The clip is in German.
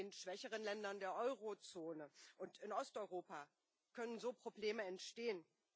In den schwächeren Ländern der Eurozone und Osteuropa können so Probleme entstehen.